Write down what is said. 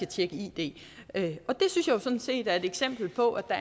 tjekke id det synes jeg sådan set er et eksempel på at